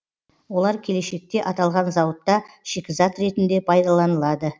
олар келешекте аталған зауытта шикізат ретінде пайдаланылады